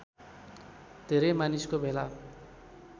धेरै मानिसको भेला